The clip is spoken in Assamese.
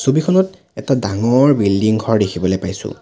ছবিখনত এটা ডাঙৰ বিল্ডিং ঘৰ দেখিবলে পাইছোঁ।